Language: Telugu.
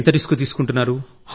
ఎంత రిస్క్ తీసుకుంటున్నారు